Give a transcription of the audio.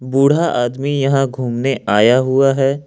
बूढ़ा आदमी यहां घूमने आया हुआ है।